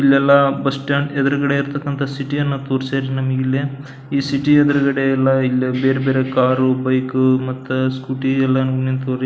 ಇಲ್ಲೆಲ್ಲಾ bus stand ಎದುರುಗಡೆ ಇರತಕ್ಕಂಥ ಸಿಟಿ ಅನ್ನು ತೋರ್ಸ್ಯಾರ್ ನಮ್ಗೆಲ್ಲಾ ಈ ಸಿಟಿ ಎದುರುಗಡೆ ಎಲ್ಲ ಇಲ್ಲಿ ಬೇರೆ ಬೇರೆ ಕಾರು ಬೈಕು ಮತ್ತೆ ಸ್ಕೂಟಿ ಎಲ್ಲ ನಿಂತ್ಯವ ರೀ.